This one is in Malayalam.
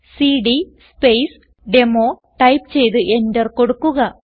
സിഡി സ്പേസ് ഡെമോ ടൈപ്പ് ചെയ്ത് എന്റർ കൊടുക്കുക